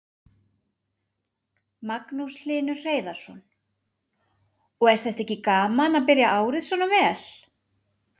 Magnús Hlynur Hreiðarsson: Og er þetta ekki gaman að byrja árið svona vel?